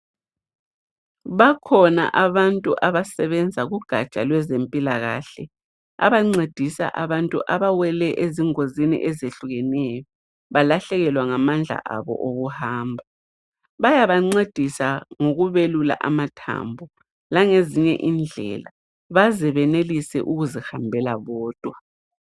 Bakhona abantu abasebenza kugatsha lwezempilakahle abancedisa abantu abawele ezingozini ezehlukeneyo abalahlekelwe ngamandla abo okuhamba bayabancedisa ngokubelula amathambo langezinye indlela baze benelise ukuzihambela bodwa.